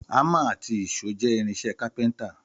Àmà àtí ìṣó jẹ ìrínsẹ kàpẹńtà.